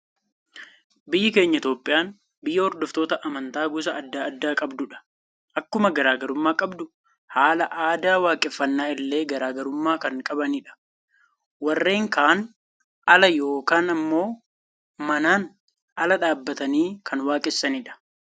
Biyya keenya Itoophiyaan, biyya hordoftoota amantaa gosa addaa addaa qabdudha. Akkuma garaagarummaa qabdu, haala aadaa waaqeffannaa illee garaagarummaa kan qabanidha. Warreen kaan ala yookaan immoo manaan ala dhaabbatanii kan waaqessanidha.